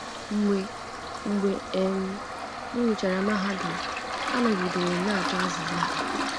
Mgbe Mgbe um m gụchara mahadum, anọgidere m na-achọ azịza ha.